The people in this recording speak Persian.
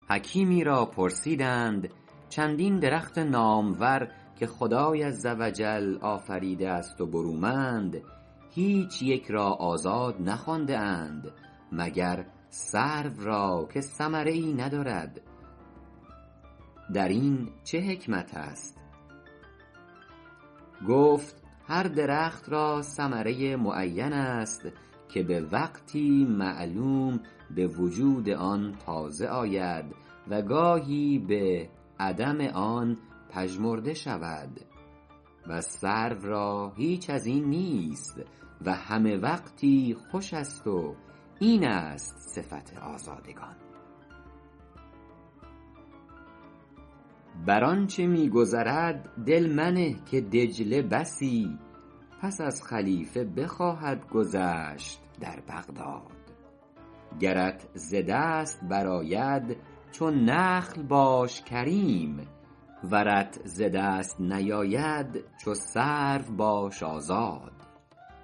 حکیمی را پرسیدند چندین درخت نامور که خدای عز و جل آفریده است و برومند هیچ یک را آزاد نخوانده اند مگر سرو را که ثمره ای ندارد در این چه حکمت است گفت هر درختی را ثمره ای معین است که به وقتی معلوم به وجود آن تازه آید و گاهی به عدم آن پژمرده شود و سرو را هیچ از این نیست و همه وقتی خوش است و این است صفت آزادگان بر آنچه می گذرد دل منه که دجله بسی پس از خلیفه بخواهد گذشت در بغداد گرت ز دست برآید چو نخل باش کریم ورت ز دست نیاید چو سرو باش آزاد